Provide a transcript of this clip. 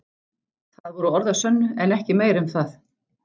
Það voru orð að sönnu en ekki meira um það.